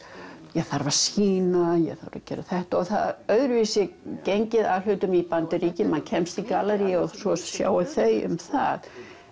ég þarf að sýna ég þarf að gera þetta það öðruvísi gengið að hlutum í Bandaríkjunum maður kemst í gallerí og svo sjá þau um það